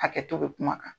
Hakɛto bɛ kuma kan